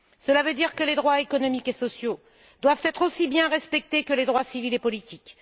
Cela veut dire que les droits économiques et sociaux doivent être aussi bien respectés que les droits civils et politiques.